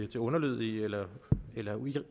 til underlødige eller